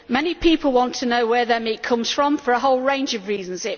Many people want to know where their meat comes from, for a whole range of reasons.